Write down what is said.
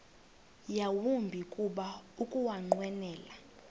yawumbi kuba ukunqwenela